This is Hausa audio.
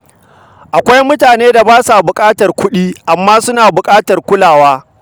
Akwai mutanen da ba sa buƙatar kudi, amma suna buƙatar kulawa.